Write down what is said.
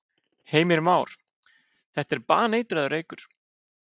Heimir Már: Þetta er baneitraður reykur?